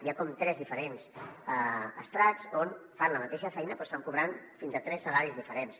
hi ha com tres diferents estrats que fan la mateixa feina però estan cobrant fins a tres salaris diferents